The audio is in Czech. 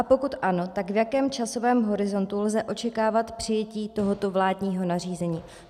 A pokud ano, tak v jakém časovém horizontu lze očekávat přijetí tohoto vládního nařízení.